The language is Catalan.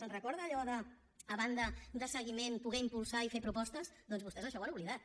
se’n recorda d’allò de a banda de seguiment poder impulsar i fer propostes doncs vostès això ho han oblidat